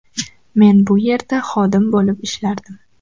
Men bu yerda xodim bo‘lib ishlardim.